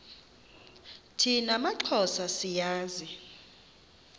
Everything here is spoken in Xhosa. thina maxhosa siyazi